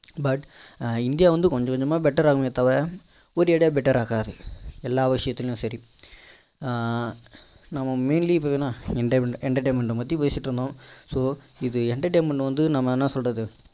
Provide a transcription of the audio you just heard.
but India வந்து கொஞ்ச கொஞ்சமா better ஆகுமே தவிர ஒரேடியா better ஆகாது எல்லா விஷயத்துலையும் சரி ஆஹ் நம்ம இப்போ என்ன entertainment பற்றி பேசிட்டு இருந்தோம் so இது entertainment வந்து நம்ம என்ன சொல்றது